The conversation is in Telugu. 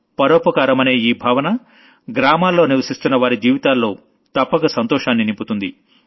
పరోపకారమనే ఈ భావన గ్రామాల్లో నివశిస్తున్నవారి జీవితాల్లో తప్పక సంతోషాన్ని నింపుతుంది